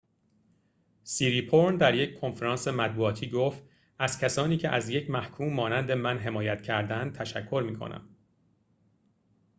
سیریپورن در یک کنفرانس مطبوعاتی گفت از کسانی که از یک محکوم مانند من حمایت کردند تشکر می‌کنم